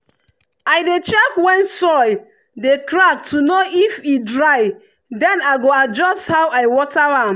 i dey check when soil dey crack to know if e dry then i go adjust how i water am.